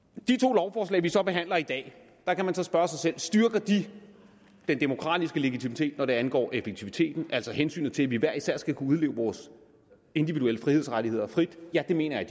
med vi så behandler i dag kan man spørge sig selv styrker de den demokratiske legitimitet når det angår effektiviteten altså hensyn til at vi hver især skal kunne udleve vores individuelle frihedsrettigheder frit ja det mener jeg